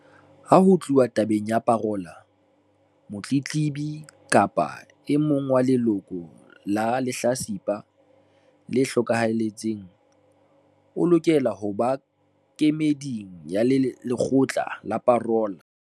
Ha ho tluwa tabeng ya parola, motletlebi kapa e mong wa leloko la lehlatsipa le hlokahetseng o lokela ho ba kemeding ya lekgotla la parola.